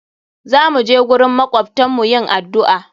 Za mu je gurin makwabtan mu yin addu'a.